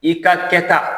I ka kɛta